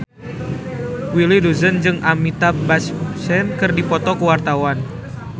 Willy Dozan jeung Amitabh Bachchan keur dipoto ku wartawan